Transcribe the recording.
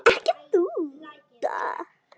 Ekki þú.